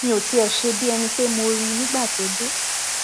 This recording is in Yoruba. mi ò tiẹ ṣe bíi ẹni pé mo rí i nígbà tó dé